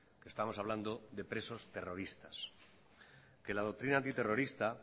estamos hablando de presos terroristas la doctrina antiterrorista